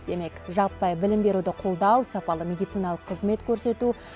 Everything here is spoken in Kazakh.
демек жаппай білім беруді қолдау сапалы медициналық қызмет көрсету